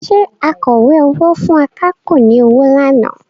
Ṣé akọ̀wé owó fún akápò ni ọwọ́ lánàá?